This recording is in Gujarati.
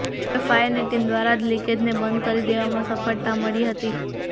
જોકે ફાયર ની ટીમ દ્વારા આ લીકેજ ને બંધ કરી દેવામાં સફળતા મળી હતી